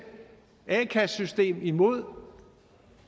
a kassesystem imod